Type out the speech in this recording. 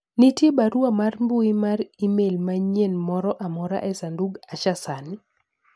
nitie barua mar mbui mar email manyien moro amora e sanduga , Asha sani